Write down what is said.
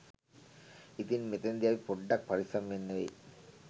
ඉතින් මෙතනදී අපි පොඩ්ඩක් පරිස්සම් වෙන්න වෙයි